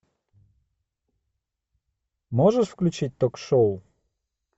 можешь включить ток шоу